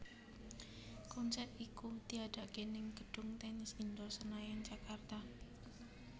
Konser iku diadakaké ning gedung Tennis Indoor Senayan Jakarta